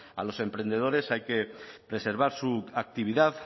a los emprendedores hay que preservar su actividad